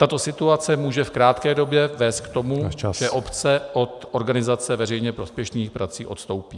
Tato situace může v krátké době vést k tomu , že obce od organizace veřejně prospěšných prací odstoupí.